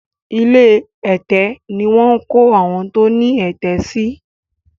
ilé ẹ̀tẹ̀ ní wón kọ àwọn tó ní ẹ̀tẹ̀ sí